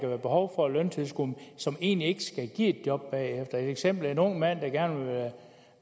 være behov for løntilskud som egentlig ikke skal give et job bagefter et eksempel er en ung mand der gerne vil